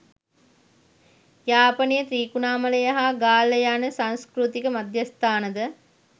යාපනය ත්‍රිකුණාමලය හා ගාල්ල යන සංස්කෘතික මධ්‍යස්ථානද